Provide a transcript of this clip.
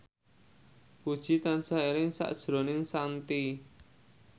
Puji tansah eling sakjroning Shanti